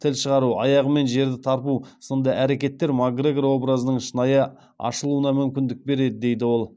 тіл шығару аяғымен жерді тарпу сынды әрекеттер макгрегор образының шынайы ашылуына мүмкіндік береді дейді ол